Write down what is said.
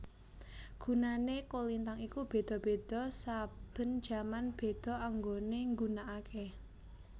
Gunane kolintang iku beda beda saben jaman beda anggone nggunakake